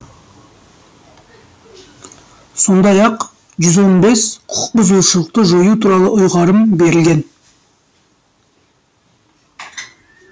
сондай ақ жүз он бес құқықбұзушылықты жою туралы ұйғарым берілген